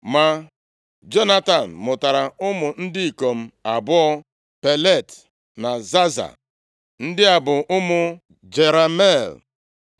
ma Jonatan mụtara ụmụ ndị ikom abụọ: Pelet na Zaza. Ndị a bụ ụmụ Jerameel.